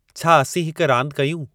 छा असीं हिक रांदि कयूं